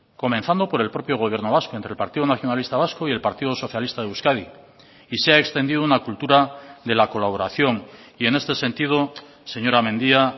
comenzando por el propio gobierno vasco entre el partido nacionalista vasco y el partido socialista de euskadi y se ha extendido una cultura de la colaboración y en este sentido señora mendia